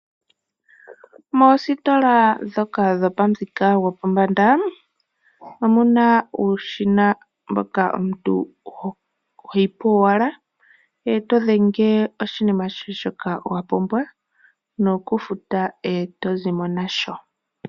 Moostola ndhoka dhopamuthika gopombanda omuna uushina mboka omuntu hoyi po owala eto dhenge oshinima shoka wapumbwa, nokufuta eto zimo nasho.